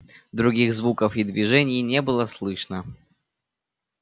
других звуков и движений не было слышно